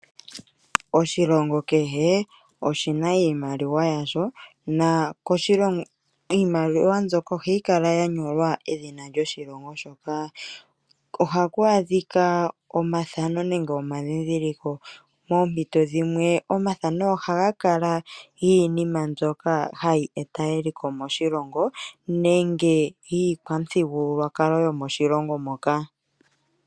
Oshilongo kehe oshina iimaliwa yasho, iimaliwa mbyoka ohayi kala ya nyolwa edhina lyoshilongo shoka. Ohaku adhika omathano nenge omandhidhiliko poompiti dhinwe omathano ohaga kala giinima mbyoka hayi eta eliko moshilongo nenge iikwamuthigululwakalo yomoshilongo moka.